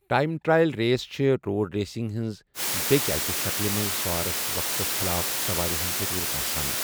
Time trial race چھےٚ road racing ہٕنٛز بیٛکہِ اکہِ شکلہِ منٛز سوارَس وقتَس خِلاف سوارِ ہٕنٛز ضروٗرت آسان۔